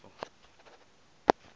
na e ka ba go